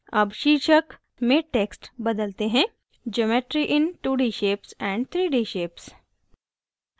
अब शीर्षक में text बदलते हैंgeometry in two d shapes and three d shapes